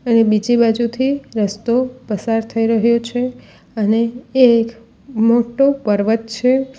અને બીજી બાજુથી રસ્તો પસાર થઈ રહ્યો છે અને એક મોટો પર્વત છે.